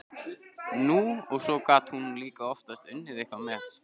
Nú, og svo gat hún líka oftast unnið eitthvað með.